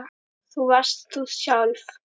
Þú varst þú sjálf.